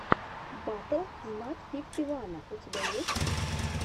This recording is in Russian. батл знат фифти вана у тебя есть